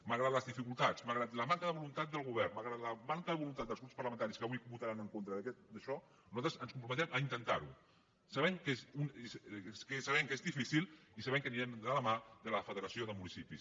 malgrat les dificultats malgrat la manca de voluntat del govern malgrat la manca de voluntat dels grups parlamentaris que avui votaran en contra d’això nosaltres ens comprometem a intentar ho sabent que és difícil i sabent que anirem de la mà de la federació de municipis